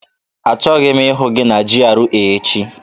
Achọghị m ịhụ gị na GRA echi!